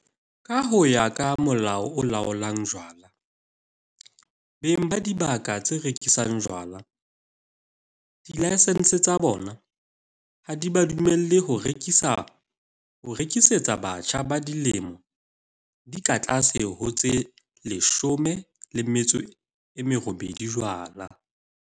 Ka ho ya ka Molao o Laolang Jwala, beng ba dibaka tse rekisang jwala dilaesense tsa bona ha di ba dumelle ho rekisetsa batjha ba dilemo di ka tlase ho tse 18 jwala.